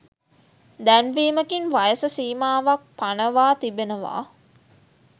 දැන්වීමකින් වයස සීමාවක් පනවා තිබෙනවා